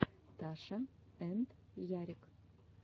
таша энд ярик